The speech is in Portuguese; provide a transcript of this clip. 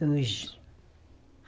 Dois.